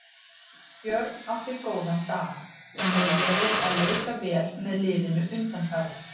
Björn átti góðan dag, hann hefur verið að leika vel með liðinu undanfarið.